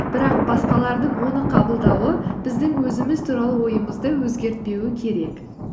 бірақ басқалардың оны қабылдауы біздің өзіміз туралы ойымызды өзгертпеуі керек